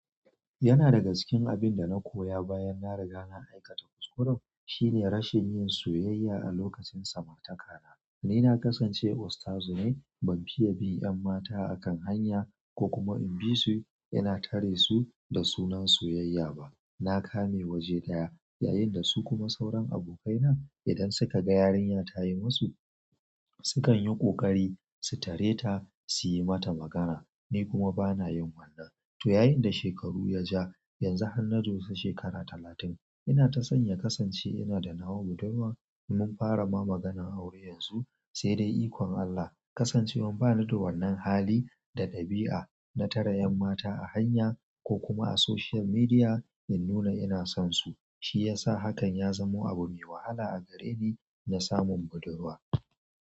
Yana daga cikin abunda na koya bayan na riga na aikata kuskure shine rashin yin soyayya a lokacin samartakana ni na kasance ustazu ne ban fiye bin yam mata a kan hanya ko kuma in bisu ina tare da sunan soyayya ba na kame waje ɗaya, yayin da su kuma sauran abokaina idan suka ga yarinya tayi musu, sukan yi ƙoƙari su tare ta su yi mata magana. Ni kuma bana yin wannan. To yayin da shekaru ya ja, yanzu har na doshi shekara talatin, ina ta son ya kasance ina da nawa budurwa mun fara ma maganan aure yanzu, sai dai ikon Allah. Kasancewan bani da wannan hali da ɗabi'a na tare ƴan mata a hanya ko kuma a social media in nuna ina son su, shi ya sa hakan ya zamo abu mai wahala a gare ni na samun budurwa.